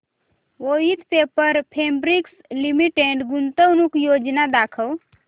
Voith paper fabrics limited गुंतवणूक योजना दाखव